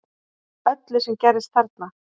Öllu sem gerðist þarna